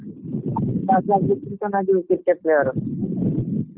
first class କରିନାହାନ୍ତି କେତେ player ?